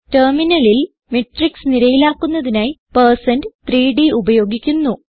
ടെർമിനലിൽ മാട്രിക്സ് നിരയിലാക്കുന്നതിനായി പെർസെന്റ് 3ഡ് ഉപയോഗിക്കുന്നു